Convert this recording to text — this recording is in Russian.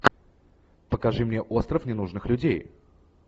покажи мне остров ненужных людей